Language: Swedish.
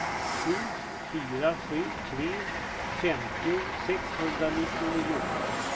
sju fyra sju tre femtio sexhundranittionio